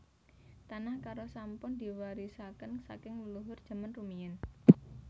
Tanah Karo sampun diwarisaken saking leluhur jaman rumiyin